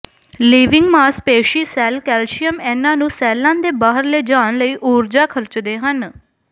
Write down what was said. living ਮਾਸਪੇਸ਼ੀ cell calcium ਐਨਾਂ ਨੂੰ ਸੈੱਲਾਂ ਦੇ ਬਾਹਰ ਲਿਜਾਣ ਲਈ ਊਰਜਾ ਖਰਚਦੇ ਹਨ